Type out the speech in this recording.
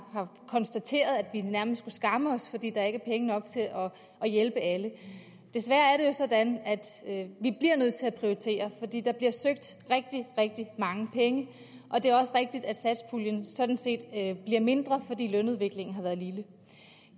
har konstateret at vi nærmest skulle skamme os fordi der ikke er penge nok til at hjælpe alle desværre er sådan at vi bliver nødt til at prioritere fordi der bliver søgt rigtig rigtig mange penge og det er også rigtigt at satspuljen sådan set er bliver mindre fordi lønudviklingen har været lille